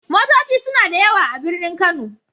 Motoci suna da yawa a birnin Kano.